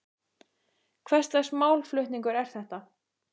Hvers lags málflutningur er þetta?